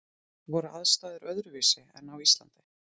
Voru aðstæður öðruvísi en á Íslandi?